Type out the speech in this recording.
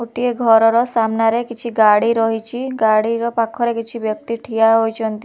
ଗୋଟିଏ ଘରର ସାମ୍ନାରେ କିଛି ଗାଡି ରହିଛି ଗାଡିର ପାଖରେ କିଛି ବ୍ୟକ୍ତି ଠିଆ ହୋଇଛନ୍ତି ।